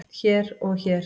hér og hér